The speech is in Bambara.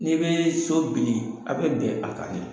N'i bɛ so bili a bɛ bɛn a ka de.